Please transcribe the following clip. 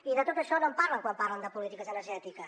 i de tot això no en parlen quan parlen de polítiques energètiques